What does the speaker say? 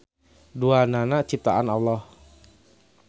Duanana ciptaan Alloh.